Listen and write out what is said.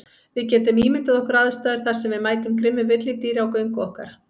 Við getum ímyndað okkar aðstæður þar sem við mætum grimmu villidýri á göngu okkar.